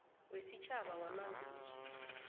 wesitjhaba wamanzi uthi